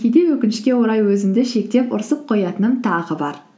кейде өкінішке орай өзімді шектеп ұрысып қоятыным тағы бар